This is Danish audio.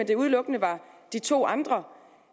det udelukkende var de to andre